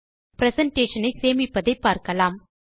presentation ஐ சேமிப்பதை பார்க்கலாம்